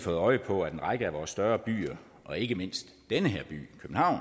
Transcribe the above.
fået øje på at en række af vores større byer og ikke mindst den her by københavn